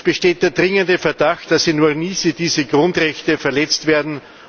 Es besteht der dringende Verdacht, dass in Ornithi diese Grundrechte verletzt werden.